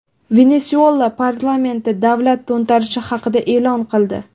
Venesuela parlamenti davlat to‘ntarishi haqida e’lon qildi .